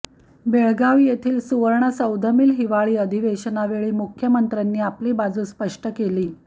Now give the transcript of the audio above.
बेळगाव येथील सुवर्णसौधमील हिवाळी अधिवेशनावेळी मुख्यमंत्र्यांनी आपली बाजू स्पष्ट केली